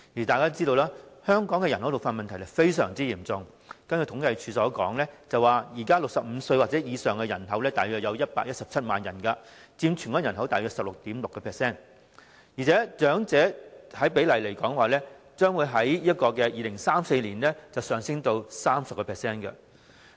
大家都知道，香港人口老化問題非常嚴重，根據政府統計處的資料，現時65歲或以上的人口約為117萬人，佔全港人口大約 16.6%， 而且長者的百分比將在2034年上升至 30%。